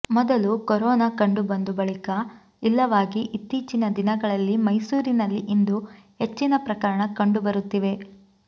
ಮೊದಲು ಕೊರೋನಾ ಕಂಡು ಬಂದು ಬಳಿಕ ಇಲ್ಲವಾಗಿ ಇತ್ತೀಚಿನ ದಿನಗಳಲ್ಲಿ ಮೈಸೂರಿನಲ್ಲಿ ಇಂದು ಹೆಚ್ಚಿನ ಪ್ರಕರಣ ಕಂಡು ಬರುತ್ತಿವೆ